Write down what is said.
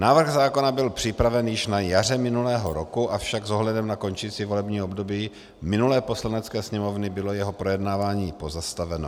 Návrh zákona byl připraven již na jaře minulého roku, avšak s ohledem na končící volební období minulé Poslanecké sněmovny bylo jeho projednávání pozastaveno.